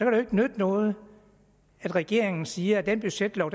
jo ikke nytte noget at regeringen siger at den budgetlov